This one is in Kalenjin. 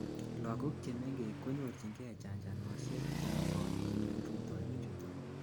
lagok chemengech konyorchingei chanchanosiek chemogotin end rutoiwek chuton